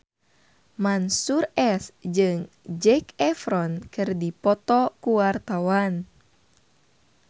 Mansyur S jeung Zac Efron keur dipoto ku wartawan